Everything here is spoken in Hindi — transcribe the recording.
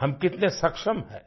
हम कितने सक्षम हैं